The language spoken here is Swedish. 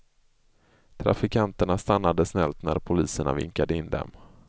Trafikanterna stannade snällt när poliserna vinkade in dem.